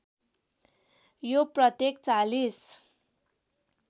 यो प्रत्येक ४०